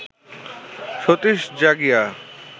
Satish Jagia